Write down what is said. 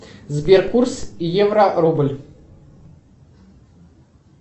сбер курс евро рубль